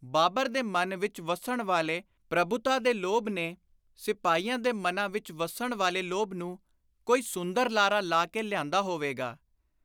ਬਾਬਰ ਦੇ ਮਨ ਵਿਚ ਵੱਸਣ ਵਾਲੇ ਪ੍ਰਭੁਤਾ ਦੇ ਲੋਭ ਨੇ ਸਿਪਾਹੀਆਂ ਦੇ ਮਨਾਂ ਵਿਚ ਵੱਸਣ ਵਾਲੇ ਲੋਭ ਨੂੰ ਕੋਈ ਸੁੰਦਰ ਲਾਰਾ ਲਾ ਕੇ ਲਿਆਂਦਾ ਹੋਵੇਗਾ।